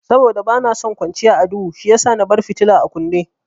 Saboda bana son kwanciya a duhu shiyasa na bar fitila a kunne.